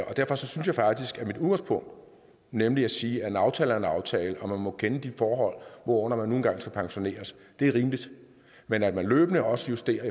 derfor synes jeg faktisk at mit udgangspunkt nemlig at sige at en aftale er en aftale og at man må kende de forhold hvorunder man nu engang skal pensioneres er rimeligt men at man løbende også justerer